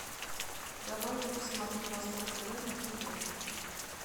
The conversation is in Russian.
давай я посмотрю восток тв на тв